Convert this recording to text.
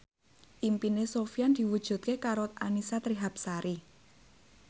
impine Sofyan diwujudke karo Annisa Trihapsari